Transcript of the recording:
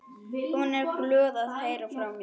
Hún er glöð að heyra frá mér.